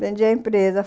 Vendi a empresa.